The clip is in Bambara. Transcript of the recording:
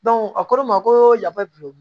a ko ne ma ko yafa bi